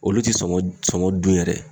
Olu ti sɔngɔ sɔngɔ dun yɛrɛ